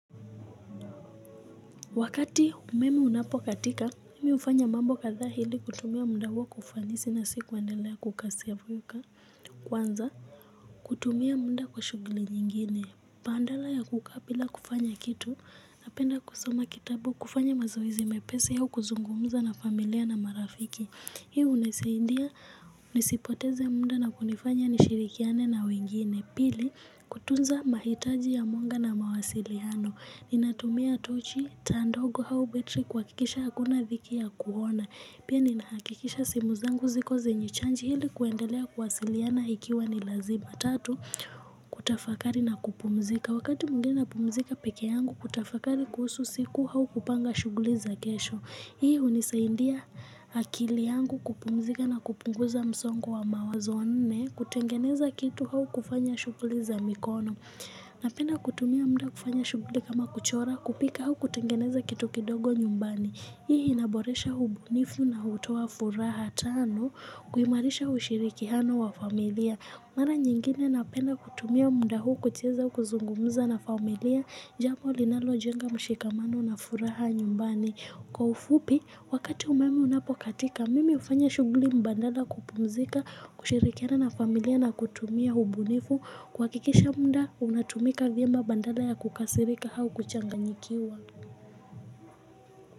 Wakati umeme unapokatika, mimi hufanya mambo kadhaa ili kutumia muda huo kwa ufanisi na si kuendelea kukaa kwanza. Kutumia muda kwa shughuli nyingine. Badala ya kukaa bila kufanya kitu, napenda kusoma kitabu kufanya mazoezi mepesi au kuzungumza na familia na marafiki. Hii hunisaidia nisipoteze muda na kunifanya nishirikiane na wengine. Pili kutunza mahitaji ya muda na mawasiliano. Ninatumia tochi, taa ndogo au betri kuhakikisha hakuna dhiki ya kuona. Pia ninahakikisha simu zangu ziko zenye chanji ili kuendelea kuwasiliana ikiwa ni lazima. Kutafakari na kupumzika wakati mwingine napumzika peke yangu kutafakari kuhusu siku au kupanga shughuli za kesho. Hii hunisaidia akili yangu kupumzika na kupunguza msongo wa mawazo. Nne kutengeneza kitu au kufanya shughuli za mikono Napenda kutumia muda kufanya shughuli kama kuchora kupika au kutengeneza kitu kidogo nyumbani Hii inaboresha ubunifu na hutowa furaha Tano kuhimarisha ushirikiano wa familia Mara nyingine na penda kutumia muda huu kucheza au kuzungumuza na familia jambo linalo jenga mshikamano na furaha nyumbani. Kwa ufupi, wakati umeme unapokatika, mimi hufanya shughuli mbadala kupumzika, kushirikiana na familia na kutumia ubunifu. Kuhakikisha muda, unatumika vyema badala ya kukasirika au kuchanganyikiwa.